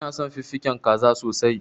Ina son fiffiken zaka sosai.